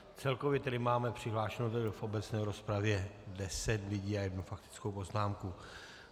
Celkově tedy máme přihlášeno v obecné rozpravě deset lidí a jednu faktickou poznámku.